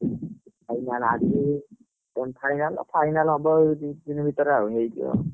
Final ଆଜି semi final final ହବ ଏଇ ଦି ଦିନ ଭିତରେ ଆଉ ହେଇଯିବ।